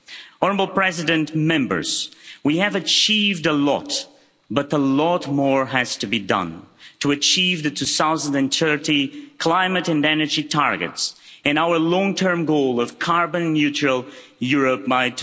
Honourable President, Members, we have achieved a lot, but a lot more has to be done to achieve the 2030 climate and energy targets and our long term goal of carbon neutral Europe by